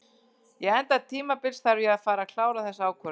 Ég enda tímabils þarf ég að fara að klára þessa ákvörðun.